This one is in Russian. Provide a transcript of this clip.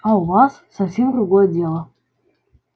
а у вас совсем другое дело